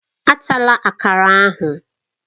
Atala Akara ahụ!